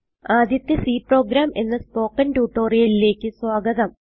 ആദ്യത്തെ C program എന്ന spoken ട്യൂട്ടോറിയലിലേക്ക് സ്വാഗതം